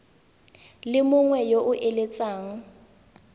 le mongwe yo o eletsang